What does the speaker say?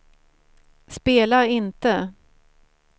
spela inte